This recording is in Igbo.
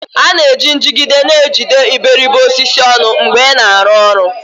A na-eji njigide na-ejide iberibe osisi ọnụ mgbe ị na-arụ ọrụ